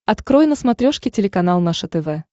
открой на смотрешке телеканал наше тв